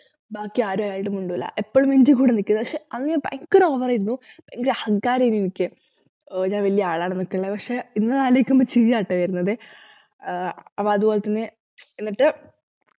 ബാക്കിയാരുഅയാളോട് മിണ്ടൂല എപ്പോളും എന്റെ കൂടെ നിക്കു പക്ഷെ അന്ന് ഞാൻ ഭയങ്കര over ആയിരുന്നു ഭയങ്കര അഹങ്കാരായിരുന്നു എനിക്ക് ആഹ് ഞാൻ വല്യ ആളാണെന്നൊക്കെള്ള പക്ഷെ ഇന്ന് അത് ആലോയിക്കുമ്പോ ചിരിയാട്ട വരുന്നത് ആഹ് അപ്പൊ അതുപോലെതന്നെ എന്നിട്ടു